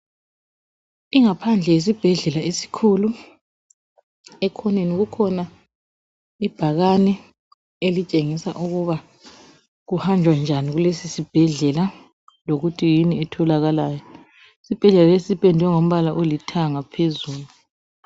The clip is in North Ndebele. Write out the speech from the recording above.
Ingaphandle yesibhedlela esikhulu. Ekhoneni kukhona ibhakane elitshengisa ukuba kuhanjwa njani kulesisibhedlela lokuthi yini etholakalayo. Sipendwe ngombala olithanga phezulu.